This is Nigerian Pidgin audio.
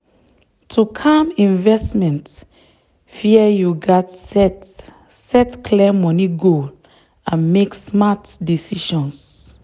to calm investment fear you gats set set clear money goal and make smart decisions.